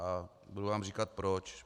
A budu vám říkat proč.